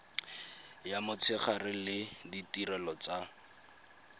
ya motshegare le ditirelo tsa